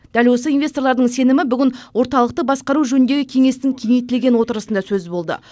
дәл осы инвесторлардың сенімі бүгін орталықты басқару жөніндегі кеңестің кеңейтілген отырысында сөз болды